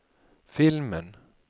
filmen